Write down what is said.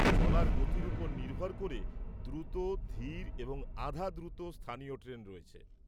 চলার গতির উপর নির্ভর করে, দ্রুত, ধীর এবং আধা-দ্রুত স্থানীয় ট্রেন রয়েছে।